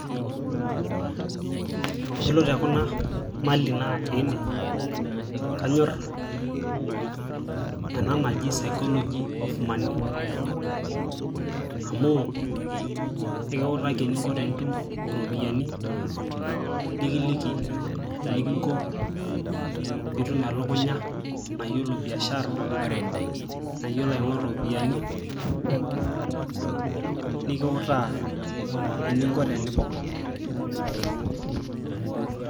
Yiolo tekuna mali naatiiene kanyor ena naji sycology of money amuu ekiutaki eninko tenitum iropiyiani nikiliki enikinko peitum elukunya nayiolo biashara nayiolo aing'oru iropiyiani nikiutaa eninko tenipok .